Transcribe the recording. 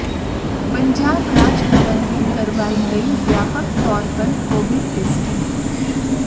पंजाब राज भवन में करवाई गई व्यापक तौर पर कोविड टैस्टिंग